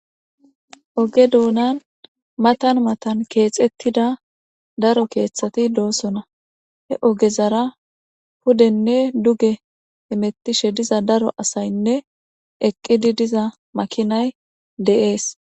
oge dounan matan matan keexettida daro keeththati doosona he ogezara hudenne duge imettishe diza daro asaynne eqqidi diza makinay de'es.